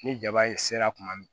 Ni jaba ye sera kuma min